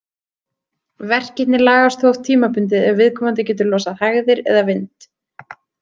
Verkirnir lagast þó oft tímabundið ef viðkomandi getur losað hægðir eða vind.